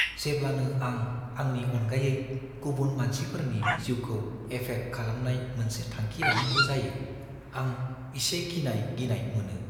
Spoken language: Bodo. जेब्लानो आं आंनि अनगायै गुबुन मानसिफोरनि जिउखौ एफेक्ट खालामनाय मोनसे थांखि लानांगौ जायो, आं इसे गिनाय-गिनाय मोनो।